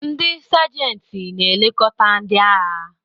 Ndị Sajanti na-elekọta ndị agha.